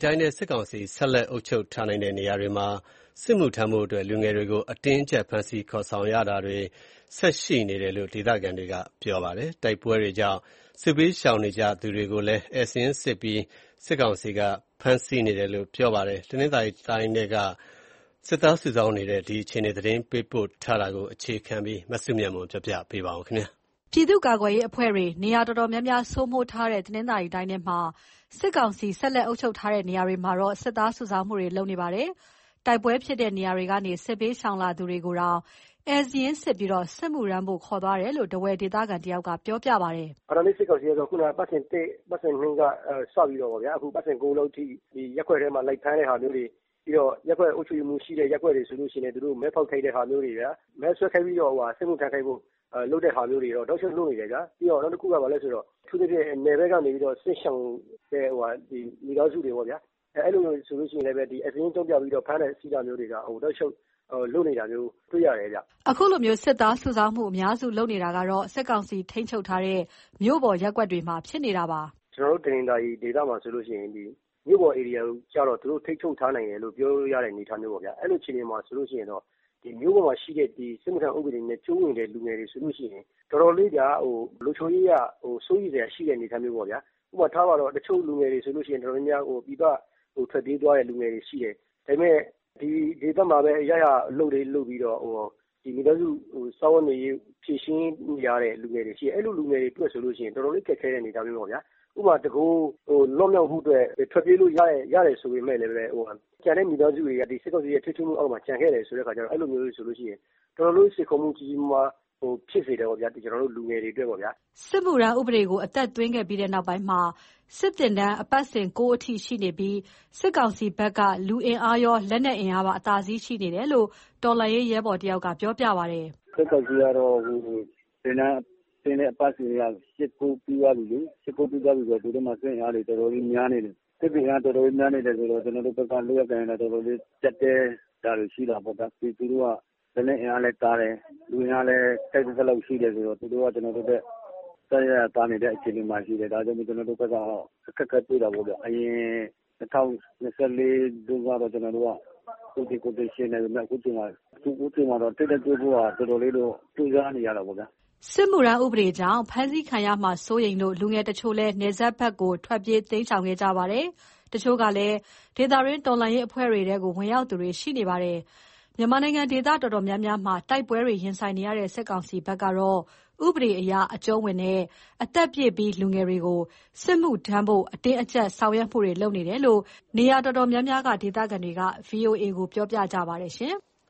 တိုင်းထဲက စစ်ကောင်စီဆက်လက်အုပ်ချုပ်ထားနိုင်တဲ့ နေရာတွေမှာ စစ်မှုထမ်းဖို့အတွက် လူငယ်တွေကို အတင်းအကြပ် ဖမ်းဆီးခေါ်ဆောင်ခံရတာတွေ ဆက်ရှိနေတယ်လို့ ဒေသခံတွေက ပြောပါတယ်။ တိုက်ပွဲတွေကြောင့် စစ်ဘေးရှောင်နေကြသူတွေကိုလည်း ဧည့်စာရင်းစစ်ပြီး ဖမ်းဆီးနေပါတယ်။ တနင်္သာရီတိုင်းထဲက စစ်သားစုဆောင်းနေတဲ့ အခြေအနေသတင်းပေးပို့ချက်ကို အခြေခံပြီး တင်ပြထားပါတယ်။ ပြည်သူ့ကာကွယ်ရေးအဖွဲ့တွေ နေရာတော်တော်များများ စိုးမိုးထားတဲ့ တနင်္သာရီတိုင်းထဲမှာ စစ်ကောင်စီ ဆက်လက်အုပ်ချုပ်ထားတဲ့ နေရာတွေမှာ စစ်သားစုဆောင်းမှုတွေ လုပ်နေပါတယ်။ တိုက်ပွဲဖြစ်တဲ့နေရာတွေကနေ စစ်ဘေးရှောင်လာသူတွေကိုတောင် ဧည့်စာရင်းစစ်ပြီး စစ်မှုထမ်းဖို့ ခေါ်သွားနေတယ်လို့ ထားဝယ်ဒေသခံတယောက်က ပြောပြပါတယ်။ "အာဏာသိမ်း စစ်ကောင်စီကတော့ အပတ်စဉ် ၁ ကနေစပြီးတော့ အခု အပတ်စဉ် ၉ လောက်အထိ ရပ်ကွက်ထဲမှာ လိုက်ဖမ်းတဲ့ဟာမျိုးတွေ၊ ပြီးတော့ ရပ်ကွက်အုပ်ချုပ်ရေးမှူးရှိတဲ့ ရပ်ကွက်တွေဆိုလို့ရှိရင် သူတို့မဲဖောက်ခိုင်းတာမျိုးတွေ၊ မဲဆွယ်ခိုင်းပြီးတော့ စစ်မှုထမ်းခိုင်းတာမျိုးတွေတော့ တောက်လျှောက်လုပ်နေတယ်ဗျာ။ နောက်တခုက အထူးသဖြင့် နယ်ဘက်ကနေ စစ်ရှောင်ကြတဲ့ မိသားစုတွေကို ဧည့်စာရင်းအကြောင်းပြ ဖမ်းဆီးတာမျိုးတွေက တောက်လျှောက်လုပ်နေတာမျိုး တွေ့ရတယ်ဗျ။" အခုလို စစ်သားစုဆောင်းမှုတွေ အများစုလုပ်နေတာက စစ်ကောင်စီ ထိန်းချုပ်ထားနိုင်တဲ့ မြို့ပေါ်ရပ်ကွက်တွေမှာ ဖြစ်နေတာပါ။ "ကျနော်တို့ တနင်္သာရီဒေသမှာဆိုရင် မြို့ပေါ်ဧရိယာကျတော့ သူတို့ ထိန်းချုပ်ထားနိုင်တယ်လို့ ပြောလို့ရတဲ့ အနေအထားပေါ့ဗျာ။ အဲလိုဆိုတော့ မြို့ပေါ်မှာရှိတဲ့ စစ်မှုထမ်းနဲ့ အကျုံးဝင်တဲ့ လူငယ်တွေဆိုလို့ရှိရင် လုံခြုံရေးအရ တော်တော်လေးစိုးရိမ်စရာ အနေအထားမျိုးပေါ့။ တချို့လူငယ်တွေဆိုရင် ပြည်ပထွက်ပြေးသွားတဲ့ လူငယ်တွေရှိတယ်။ ဒါပေမဲ့ ဒီဒေသမှာပဲ ရရာအလုပ်လေး လုပ်ပြီးတော့ မိသားစုစားဝတ်နေရေး ဖြေရှင်းနေရတဲ့ လူငယ်တွေရှိတယ်။ အဲလိုလူငယ်တွေဆိုရင် တော်တော်လေးခက်ခဲတဲ့ အနေအထားမျိုးပေါ့။ ဥပမာ တကိုယ်ရည်စာ လွတ်မြောက်မှုအတွက် ထွက်ပြေးလို့ရတယ် ဆိုပေမယ့်လည်း မိသားစုတွေက စစ်ကောင်စီရဲ့ ထိန်းချုပ်မှုအောက်မှာ ကျန်ခဲ့တယ်ဆိုတော့ စိန်ခေါ်မှုကြီးကြီးမားမား ဖြစ်စေတာပေါ့၊ လူငယ်တွေအတွက်။" စစ်မှုထမ်းဥပဒေကို အသက်သွင်းခဲ့ပြီးနောက်ပိုင်းမှာ စစ်သင်တန်းအပတ်စဉ် ၉ အထိရှိနေပြီး စစ်ကောင်စီဘက်က လူအင်အားရော၊ လက်နက်အင်အားပါ အသာစီးရှိနေတယ်လို့ တော်လှန်ရေးရဲဘော်တဦးက ပြောပါတယ်။ "စစ်ကောင်စီက အခုသင်တန်းဆင်းတဲ့ အပတ်စဉ်က ၈၊ ၉ ပြီးသွားပြီလေ။ ဆိုတော့ သူတို့မှာ စစ်အင်အားတွေ တော်တော်လေးများနေတယ်။ အဲတော့ ကျနော်တို့ဘက်က လုပ်ရကိုင်ရတာ ကျပ်တည်းတာလည်း ရှိတာပေါ့ဗျာ။ သူတို့က လက်နက်အင်အားလည်း သာတယ်။ လူအင်အားလည်း ထိုက်သင့်သလောက် ရှိတယ်ဆိုတော့ သူတို့က ကျနော်တို့ထက် အစစအရာရာ သာနေတဲ့ဘက်မှာ ရှိတယ်။ ဒါကြောင့်မို့ ကျနော်တို့ အခက်အခဲတွေ့တာပေါ့ဗျ။ အရင် ၂၀၂၄ တုန်းကတော့ ကျနော်တို့က သူသေကိုယ်သေ ယှဉ်နိုင်ပေမယ့် အခုချိန်မှာတော့ ထိပ်တိုက်တွေ့ဖို့က တော်တော်လေးတော့ ကြိုးစားနေရတာပေါ့ဗျာ။" စစ်မှုထမ်းဥပဒေကြောင့် ဖမ်းဆီးခံရမှာစိုးရိမ်လို့ လူငယ်တချို့လည်း နယ်စပ်ဘက်ကို ထွက်ပြေးတိမ်းရှောင်ခဲ့ကြပါတယ်။ တချို့ကလည်း ဒေသတွင်းတော်လှန်ရေး အဖွဲ့တွေထဲ ဝင်ရောက်သူတွေလည်း ရှိနေပါတယ်။ မြန်မာနိုင်ငံ ဒေသတော်တော်များများမှာ တိုက်ပွဲတွေရင်ဆိုင်နေရတဲ့ စစ်ကောင်စီဘက်ကတော့ ဥပဒေအရ အကြုံးဝင်တဲ့ အသက်ပြည့်ပြီး လူငယ်တွေကို စစ်မှုထမ်းဖို့ အတင်းအကြပ်ဆောင်ရွက်မှုတွေလုပ်နေတယ်လို့ နေရာတော်တော်များများက ဒေသခံတွေက VOA ကိုပြောပြကြပါတယ်ရှင်။